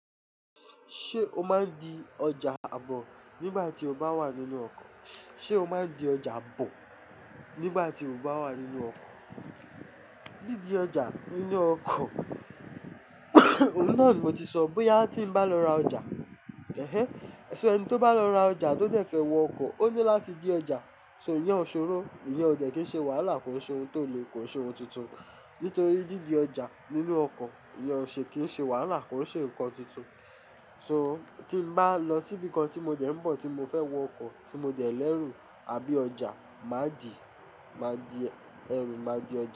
Ṣé o máa ń di ọjà àbọ̀ nígbà tí o bá wà nínú ọkọ̀? Sé o máa ń di ọjà bọ̀ nígbà tí o bá wà nínú ọkọ̀? Dídi ọjà nínú ọkọ̀, òun náà ni mo ti sọ bóyá tí n bá lọ ra ọjà. Ẹ̀hẹ̀ ẹ sẹ̀ ẹni tó bá lọ ra ọjà tó dẹ̀ fẹ́ wọ ọkọ̀, ó ní láti dé ọjà. So ìyẹn ò ṣòro, ìyẹn ò jẹ̀ kí ń ṣe wàhálà, kò ń ṣe ohun tó le, kò ń ṣe ohun tuntun. Nítorí dídi ọjà nínú ọkọ̀, ìyẹn ò ṣe kí ń ṣe wàhálà, kò ń ṣe nǹkan tuntun. So tí n bá lọ síbìkan tí mo dẹ̀ ń bọ̀ tí mo fẹ́ wọ ọkọ̀, tí mo dẹ̀ lẹ́rù àbí ọjà, máa dì, máa di ẹ̀rù, máa di ọjà.